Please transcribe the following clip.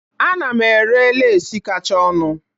Ana m ere lesi kacha ọnụ